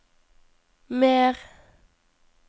mer